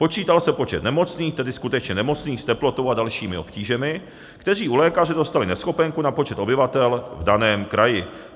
Počítal se počet nemocných, tedy skutečně nemocných s teplotou a dalšími obtížemi, kteří u lékaře dostali neschopenku, na počet obyvatel v daném kraji.